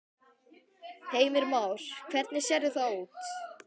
Heimir Már: Hvernig sérðu það út?